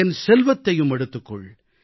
என் செல்வத்தையும் எடுத்துக் கொள்